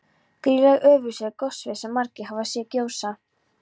Grýla í Ölfusi er goshver sem margir hafa séð gjósa.